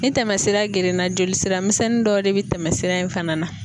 Ni tɛmɛsira gerenna joli sira misɛnnin dɔw de bɛ tɛmɛ sira in fana na.